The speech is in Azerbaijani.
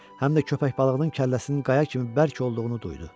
Həm də köpək balığının kəlləsinin qaya kimi bərk olduğunu duydu.